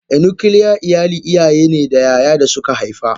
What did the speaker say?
A nuclear iyali iyayene da yaya dasu ka haifa.